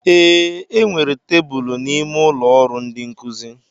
Ee, e nwere tebụl n'ime ụlọ ọrụ ndi nkuzi.